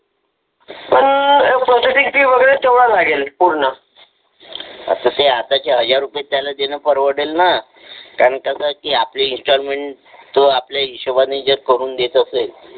पण processing fee वगैरे तेवढा लागेल त्यामध्ये आपली इंस्टॉलमेंट तो आपल्या हिशोबाने जे करून देत असेल.